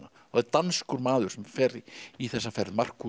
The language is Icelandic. danskur maður sem fer í þessa ferð Markús